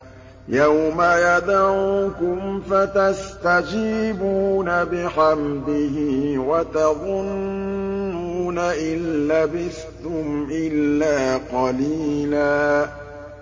يَوْمَ يَدْعُوكُمْ فَتَسْتَجِيبُونَ بِحَمْدِهِ وَتَظُنُّونَ إِن لَّبِثْتُمْ إِلَّا قَلِيلًا